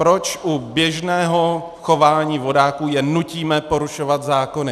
Proč u běžného chování vodáků je nutíme porušovat zákony?